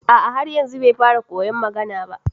A a har yanzu bai fara koyon magana ba